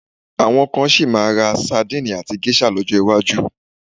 Àwọn kan sì máa ra sadíìnì àti géṣà lọ́jọ́ iwájú.